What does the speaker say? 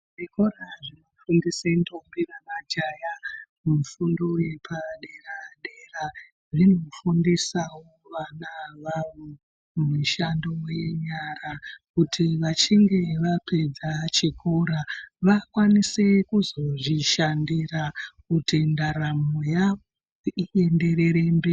Zvikora zvinofundisa ntombi nemajaya mufundo wepadera dera zvinofundisawo vana awawo mishando yenyara kuti vachinge vapedza chikora vakwanise kuzozvishandira kuti ndaramo yavo ienderere mberi .